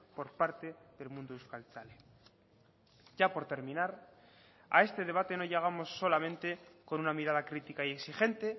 por parte del mundo euskaltzale ya por terminar a este debate no llegamos solamente con una mirada crítica y exigente